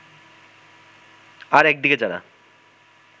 আর একদিকে যারা